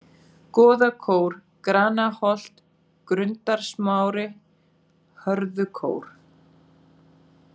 Goðakór, Granaholt, Grundarsmári, Hörðukór